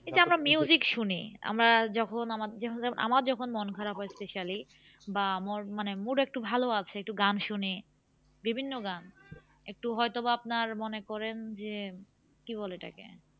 এই যে আমরা শুনি আমরা যখন আমার আমার যখন মনখারাপ হয় specially বা ম মানে mood একটু ভালো আছে একটু গান শুনি বিভিন্ন গান একটু হয়তো বা আপনার মনে করেন যে কি বলে ওটা কে?